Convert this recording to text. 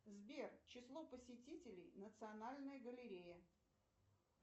сбер число посетителей национальной галереи